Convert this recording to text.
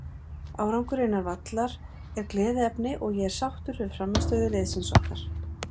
Árangurinn innan vallar er gleðiefni og er ég sáttur við frammistöðu liðsins okkar.